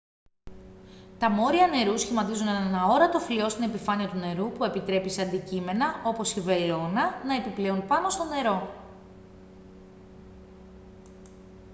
τα μόρια νερού σχηματίζουν έναν αόρατο φλοιό στην επιφάνεια του νερού που επιτρέπει σε αντικείμενα όπως η βελόνα να επιπλέουν πάνω στο νερό